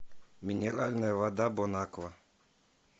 минеральная вода бон аква